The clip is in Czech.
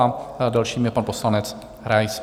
A dalším je pan poslanec Rais.